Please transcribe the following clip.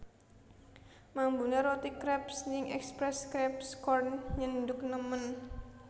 Mambune roti kreps ning Express Crepes Corn nyenduk nemen